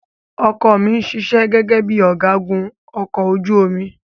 Ọkọ ọ̀ mi ṣiṣẹ́ gẹ́gẹ́ bíi ọ̀gágun ọkọ̀ ojú omi.